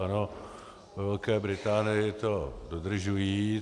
Ano, ve Velké Británii to dodržují.